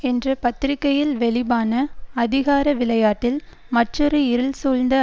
என்ற பத்திரிகையில் வெளிபான அதிகார விளையாட்டில் மற்றொரு இருள் சூழ்ந்த